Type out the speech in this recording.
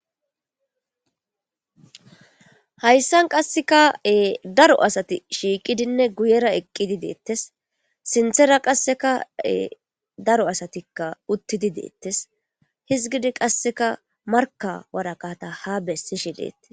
Hayssan qasseka'e daro asati shiiqidinne guyera eqqidi deettes sinthera qassekae daro asatikka uttidi deettes hizgidi qasseka marka wara kata ha bessishi leettis.